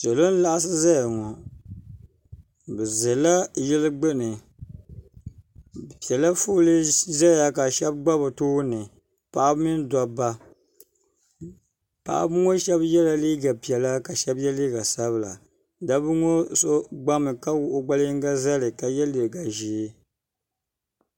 Salo n-laɣisi zaya ŋɔ bɛ ʒela yili gbuni bɛ pela foolii ʒeya ka shɛba gba bɛ tooni paɣiba mini dobba paɣiba ŋɔ shɛba yela liiga piɛla ka shɛba ye liiga sabila dabba ŋɔ so gbami ka wuɣi o gbali yiŋga zali ka ye liiga ʒee.